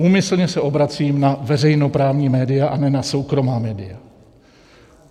Úmyslně se obracím na veřejnoprávní média a ne na soukromá média.